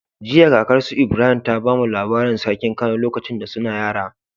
Jiya kakar su Ibrahim ta bamu labarin sarkin kano lokacin da suna yara